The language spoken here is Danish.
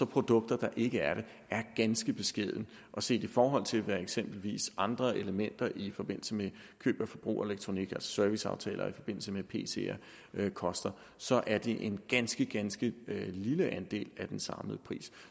produkter der ikke er det er ganske beskeden og set i forhold til hvad eksempelvis andre elementer i forbindelse med køb og forbrug af elektronik altså serviceaftaler i forbindelse med pc’er koster så er det en ganske ganske lille andel af den samlede pris